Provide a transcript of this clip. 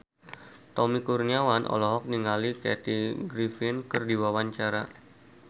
Tommy Kurniawan olohok ningali Kathy Griffin keur diwawancara